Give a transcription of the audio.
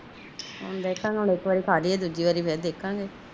ਦੇਖਾਨ ਨੂੰ ਹੁਣ ਇਕ ਵਾਰੀ ਖਾਲੀਏ ਤੇ ਦੂਜੀ ਵਾਰੀ ਫੇਰ ਦੇਖਾਗਏ